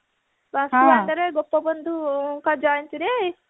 ତ ସୁଆଣ୍ଡୋରେ ଗୋପବନ୍ଧୁଙ୍କ ଜୟନ୍ତୀରେ